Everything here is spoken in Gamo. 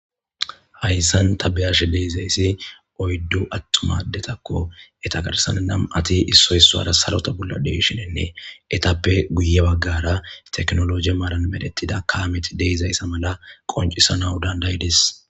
Haysan ta beyashe dizaysi oydu yelaga atuma adetako eta garsa nam'ati issoy issara sarota bolla de'iahinnine etape guye bagara tekinologe maranedhetida kameti fe'idaysa mala qoncisanaw danda'ides